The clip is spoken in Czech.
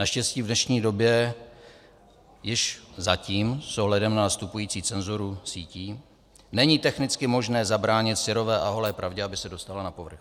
Naštěstí v dnešní době již - zatím s ohledem na nastupující cenzuru cítí - není technicky možné zabránit syrové a holé pravdě, aby se dostala na povrch.